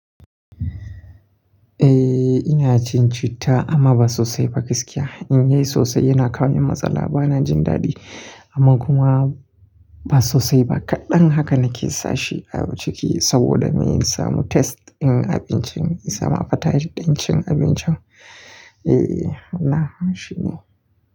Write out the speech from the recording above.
Eh ina cin citta amma ba sosai ba gaskiya. In yi sosai yana kawo min matsala. Ba na jin daɗi amma kuma ba sosai ba. Kaɗan haka nake sa shi a ciki saboda mun samu test din abincin, ya samu fataji din cin abincin. Eh, hana shi ne.